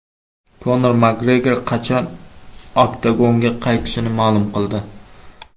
Konor Makgregor qachon oktagonga qaytishini ma’lum qildi.